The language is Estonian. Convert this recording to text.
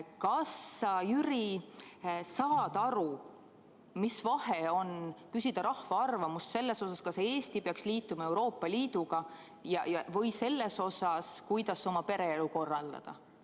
Kas sa, Jüri, saad aru, mis vahe on, kui küsida rahva arvamust selle kohta, kas Eesti peaks liituma Euroopa Liiduga, või selle kohta, kuidas oma pereelu korraldada?